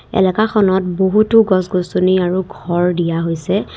এলেকাখনত বহুতো গছ গছনি আৰু ঘৰ দিয়া হৈছে।